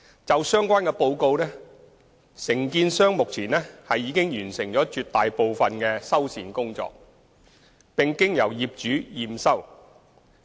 就相關報告，承建商目前已完成絕大部分的修繕工作，並經由業主驗收。